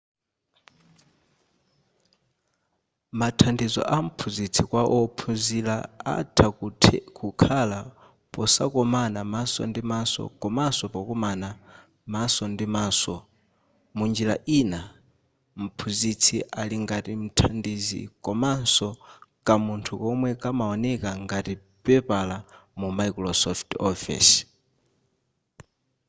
mathandizo amphunzitsi kwa wophunzira atha kukhala posakomana maso ndi maso komaso pokomana maso ndi maso munjira ina mphunzitsi ali ngati mthandizi komaso kamunthu komwe kamaoneka ngati pepala mu microsoft office